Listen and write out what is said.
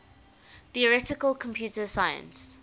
theoretical computer science